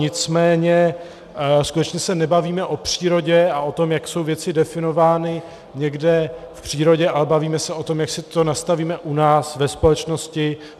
Nicméně skutečně se nebavíme o přírodě a o tom, jak jsou věci definovány někde v přírodě, ale bavíme se o tom, jak si to nastavíme u nás ve společnosti.